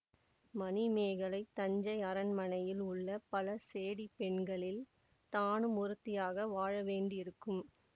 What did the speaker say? மணிமேகலை தஞ்சை அரண்மனையில் உள்ள பல சேடிப் பெண்களில் தானும் ஒருத்தியாக வாழ வேண்டியிருக்கும்